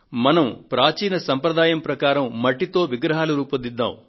మనం ప్రాచీన సంప్రదాయం ప్రకారం మట్టితో విగ్రహాలు తయారుచేద్దాము